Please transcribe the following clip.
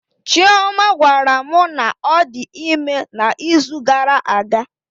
Chioma gwara mụ na ọ dị ime na izu gara aga